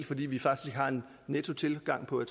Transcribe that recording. fordi vi faktisk har en nettotilgang på